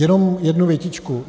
Jenom jednu větičku.